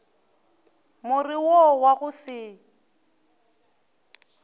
more wo wa go se